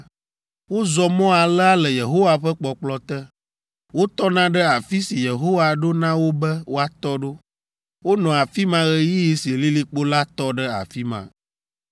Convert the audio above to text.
Wozɔ mɔ alea le Yehowa ƒe kpɔkplɔ te. Wotɔna ɖe afi si Yehowa ɖo na wo be woatɔ ɖo. Wonɔa afi ma ɣeyiɣi si lilikpo la tɔ ɖe afi ma.